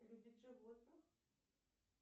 любит животных